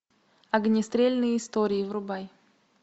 огнестрельные истории врубай